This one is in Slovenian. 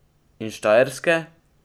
In Štajerske?